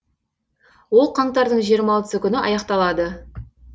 ол қаңтардың жиырма алтысы күні аяқталады